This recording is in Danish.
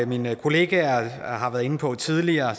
mine kollegaer har været inde på tidligere